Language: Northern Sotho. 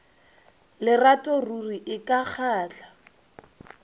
lerato ruri e ka kgahla